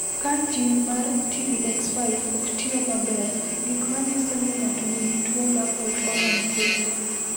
Ka jin mar TBX5 ok tiyo maber, gik ma nyiso ni ng’ato nigi tuwo mar Holt Oram kelo.